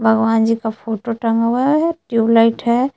भगवान जी का फोटो टंगा हुआ है ट्यूबलाइट है।